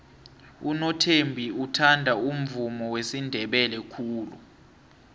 unothembi uthanda umvumo wesindebele khulu